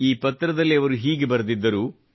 ಈ ಪತ್ರದಲ್ಲಿ ಅವರು ಹೀಗೆ ಬರೆದಿದ್ದರು